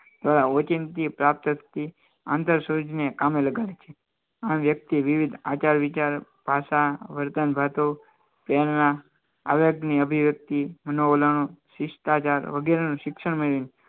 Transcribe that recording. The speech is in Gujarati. પ્રાપ્ત થતી આંતરસૂચને કામે લગાડે છે આ વ્યક્તિ વિવિધ આચાર વિચાર આવે કે અભિવ્યક્તિ મનોવલણ શિક્ષણ મેળવી